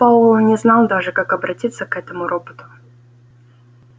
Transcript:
пауэлл не знал даже как обратиться к этому роботу